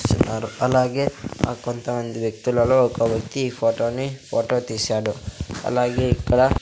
అలాగే ఆ కొంతమంది వ్యక్తులలో ఒక వ్యక్తి ఈ ఫోటోని ఫోటో తీశాడు అలాగే ఇక్కడ--